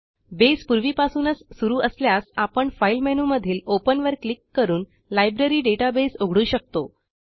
base पूर्वीपासूनच सुरू असल्यास आपण फाइल मेनूमधील ओपन वर क्लिक करून लायब्ररी डेटाबेस उघडू शकतो